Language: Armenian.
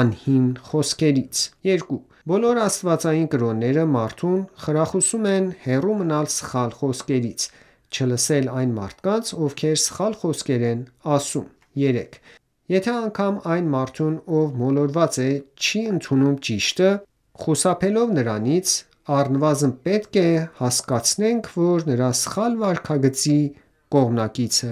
անհիմն խոսքերից: 2. Բոլոր աստվածային կրոնները մարդուն խրախուսում են հեռու մնալ սխալ խոսքերից, չլսել այն մարդկանց, ովքեր սխալ խոսքեր են ասում: 3. Եթե անգամ այն մարդուն ով մոլորված է, չի ընդունում ճիշտը, խուսափելով նրանից, առնվազն պետք է հասկացնենք, որ նրա սխալ վարքագծի կողմնակիցը